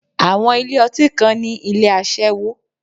Àwọn ilé ọtí kan ní ilé aṣẹ́wó.